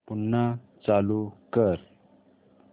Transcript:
पुन्हा चालू कर